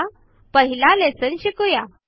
चला पहिला लेसन शिकुया